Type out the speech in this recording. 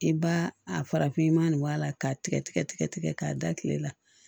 I b'a a farafinman nin wa la k'a tigɛ tigɛ k'a da tile la